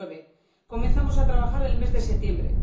2009 comenzamos a trabajar en el mes de septiembre